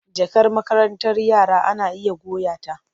Jakar makarantar yara ana iya goya ta.